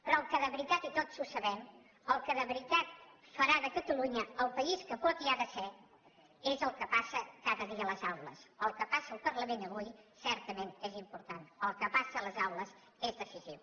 però el que de veritat i tots ho sabem farà de catalunya el país que pot i ha de ser és el que passa cada dia a les aules el que passi al parlament avui certament és important el que passa a les aules és decisiu